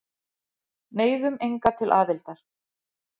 Neyðum enga til aðildar